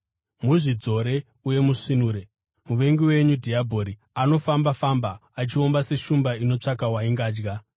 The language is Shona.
Muzvidzore uye musvinure. Muvengi wenyu dhiabhori anofamba-famba achiomba seshumba inotsvaka waingadya.